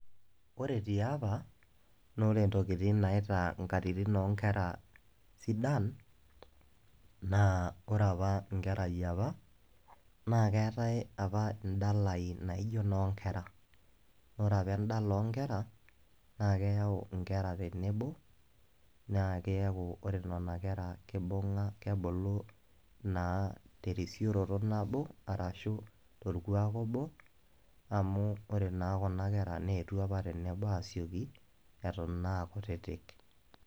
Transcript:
Ore ti olapa, naa ore intokitin naitaa inkatitin o inkera sidan, naa ore opa inkera e opa naa keatai opa indalain e opa o nkera. Naa ore opa indalain o inkera naa keyau inkera tenebo naa keaku ore nena kera keibunga kebulu naa terisioroto nabo ashu tolkuak obu, amu ore naa kunakera neetuo opa tenebo asioki, eton naa aa kutitik.